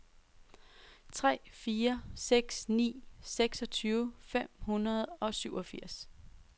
tre fire seks ni seksogtyve fem hundrede og syvogfirs